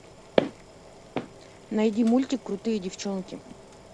найди мультик крутые девчонки